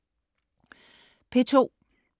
P2: